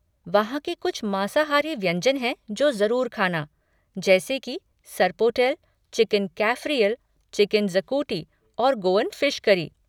वहाँ के कुछ मांसाहारी व्यंजन है जो ज़रूर खाना, जैसी की सर्पोटेल, चिकन कैफ़रियल, चिकेन ज़कूटी और गोअन फ़िश करी।